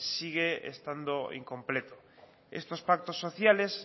sigue estando incompleto estos pactos sociales